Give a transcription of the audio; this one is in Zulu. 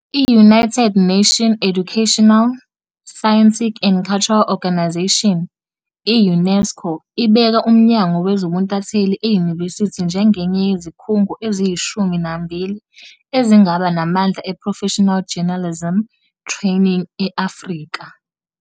I-United Nations Educational, Scientific and Cultural Organisation, i-UNESCO, ibeka uMnyango Wezobuntatheli eyunivesithi njengenye yezikhungo eziyishumi nambili ezingaba namandla eProfessional Journalism Training e-Afrika.